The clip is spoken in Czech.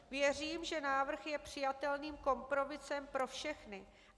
Věřím, že návrh je přijatelným kompromisem pro všechny.